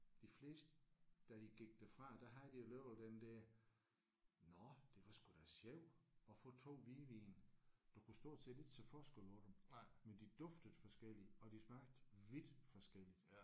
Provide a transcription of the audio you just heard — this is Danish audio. De fleste da de gik derfra der havde de alligevel den der nåh det var sgu da sjovt at få 2 hvidvine du kunne stort set ikke se forskel på dem men de duftede forskelligt og de smagte vidt forskelligt